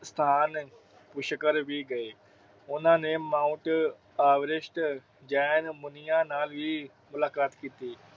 ਸਥਾਨ ਪੁਸ਼ਕਰ ਵੀ ਗਏ। ਉਹਨਾਂ ਨੇ ਮਾਊਂਟ ਐਵਰੈਸਟ ਜੈਨ ਮੁਨੀਆਂ ਨਾਲ ਵੀ ਮੁਲਾਕਾਤ ਕੀਤੀ।